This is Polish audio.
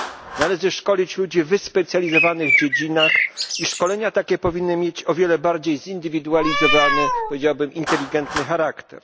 Należy szkolić ludzi w wyspecjalizowanych dziedzinach i szkolenia takie powinny mieć o wiele bardziej zindywidualizowany, powiedziałabym, inteligentny charakter.